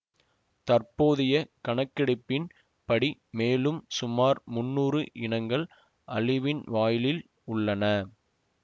தற்போதைய கணக்கெடுப்பின் படி மேலும் சுமார் முன்னூறு இனங்கள் அழிவின் வாயிலில் உள்ளன